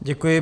Děkuji.